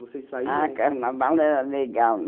Vocês saíam... Ah, carnaval era legal.